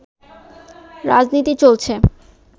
রাজনীতি চলছে